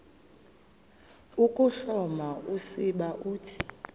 ukuhloma usiba uthi